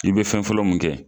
I bɛ fɛn fɔlɔ mun kɛ.